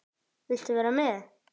Viltu vera með?